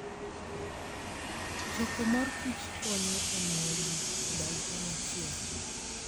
Choko mor kich konyo e miyo ji odag kanyachiel.